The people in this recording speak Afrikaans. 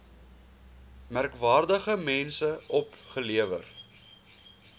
merkwaardige mense opgelewer